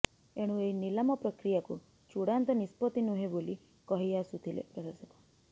ଏଣୁ ଏହି ନିଲାମ ପ୍ରକ୍ରିୟାକୁ ଚୂଡ଼ାନ୍ତ ନିଷ୍ପତ୍ତି ନୁହେଁ ବୋଲି କହି ଆସୁଥିଲେ ପ୍ରଶାସକ